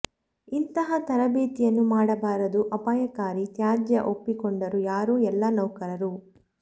ಇಂತಹ ತರಬೇತಿಯನ್ನು ಮಾಡಬಾರದು ಅಪಾಯಕಾರಿ ತ್ಯಾಜ್ಯ ಒಪ್ಪಿಕೊಂಡರು ಯಾರು ಎಲ್ಲಾ ನೌಕರರು